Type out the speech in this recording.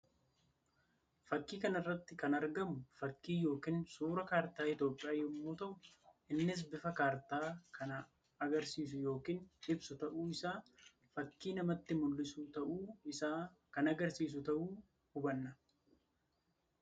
Fakkii kana irratti kan argamu fakkii yookiin suuraa kaartaa Itoophiyaa yammuu tahu innis bifa kaartaa kanaa agarsiisuu yookiin ibsu tahuu isaa fakkii namatti mullisu tahuu isaa kan agarsiisu tahui hubanna.